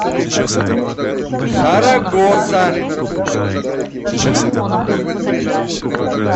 сарагоса